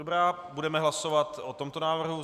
Dobrá, budeme hlasovat o tomto návrhu.